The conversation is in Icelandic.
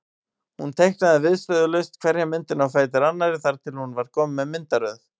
Hún teiknaði viðstöðulaust hverja myndina á fætur annarri þar til hún var komin með myndaröð.